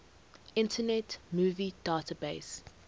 internet movie database